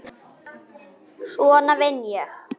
Svona vinn ég.